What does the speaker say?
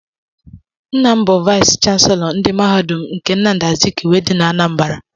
Nna m bụ vayis chansilọ ndị mahadum nke Nnamdi Azikiwe dị na Anambra.